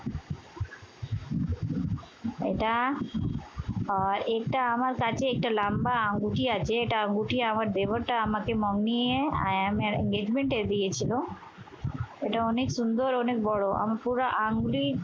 এটা আর এটা আমার কাছে একটা লাম্বা আঙ্গুঠি আছে। এটা আঙ্গুঠি আমার দেবরটা আমাকে মম নিয়ে IMA এর basement এ দিয়েছিল। এটা অনেক সুন্দর অনেক বড়। আমার পুরা আঙ্গুঠি